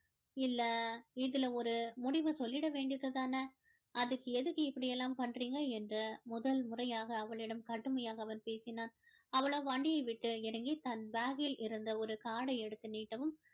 இல்ல இதுல ஒரு முடிவு சொல்லிட வேண்டியது தான அதுக்கு எதுக்கு இப்படியெல்லாம் பண்றீங்க என்று முதல் முறையாக அவளிடம் கடுமையாக அவன் பேசினான் அவளோ வண்டியை விட்டு இறங்கி தன் bag கில் இருந்து ஒரு card டை எடுத்து நீட்டவும்